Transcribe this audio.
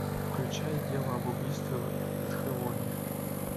включай дело об убийстве в итхэвоне